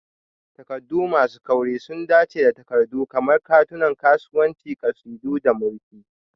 Takardu masu kauri sun dace da takardu kamar katunan kasuwanci, ƙasidu, da murfi.